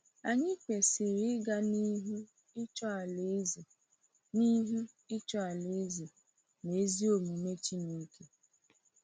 Anyị kwesịrị “ịga n’ihu ịchọ Alaeze n’ihu ịchọ Alaeze na ezi omume Chineke.”